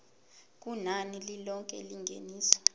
kunani lilonke lengeniso